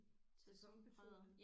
Sæsonbetonet